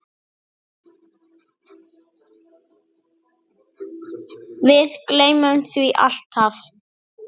Við gleymum því alltaf